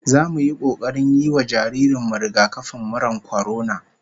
Zamu yi kokarin yi wa jaririn mu rigakafin murar kwarona